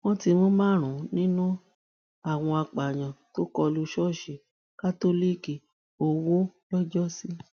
wọn ti mú ti mú márùnún nínú àwọn apààyàn tó kọ lu ṣọọṣì kátólíìkì owó lọjọsí